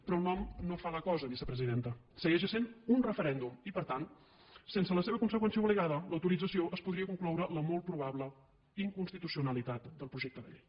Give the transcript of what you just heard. però el nom no fa la cosa vicepresidenta segueix essent un referèndum i per tant sense la seva conseqüència obligada l’autorització es podria concloure la molt probable inconstitucionalitat del projecte de llei